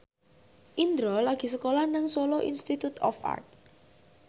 Indro lagi sekolah nang Solo Institute of Art